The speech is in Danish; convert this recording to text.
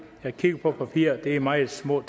jeg kigger på papiret og det er meget små